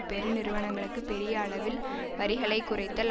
பெருநிறுவனங்களுக்கு பெரிய அளவில் வரிகளை குறைத்தல்